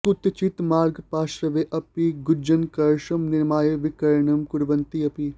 कुत्रचित् मार्गपार्श्वे अपि गृञ्जनकरसं निर्माय विक्रयणं कुर्वन्ति अपि